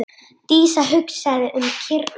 Dísa hugsaði um kýrnar.